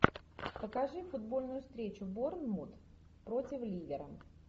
покажи футбольную встречу борнмут против ливера